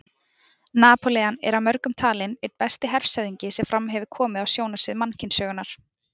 Napóleon er af mörgum talinn einn besti hershöfðingi sem fram hefur komið á sjónarsvið mannkynssögunnar.